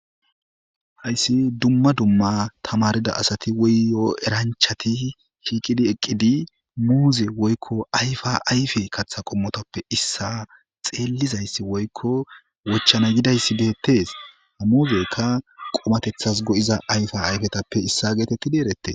Hayssi dumma dumma tamarida asati woyyo eranchati shiiqidi eqqidi muuze woykko ayfa ayfe kaththa qommotappe issa xeellizayssi woykko wochana yidayssi deettees muuzekka qomatethas go'iza ayfa ayfetappe issa geetettidi erette.